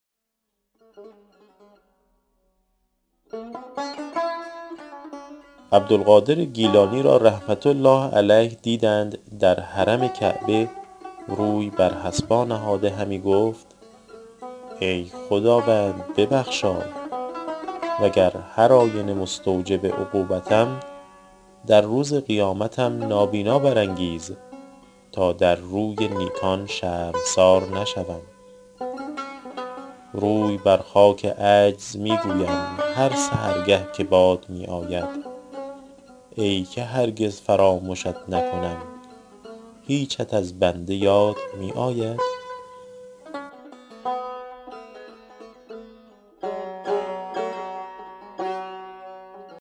عبدالقادر گیلانی را رحمة الله علیه دیدند در حرم کعبه روی بر حصبا نهاده همی گفت ای خداوند ببخشای وگر هرآینه مستوجب عقوبتم در روز قیامتم نابینا برانگیز تا در روی نیکان شرمسار نشوم روی بر خاک عجز می گویم هر سحرگه که باد می آید ای که هرگز فرامشت نکنم هیچت از بنده یاد می آید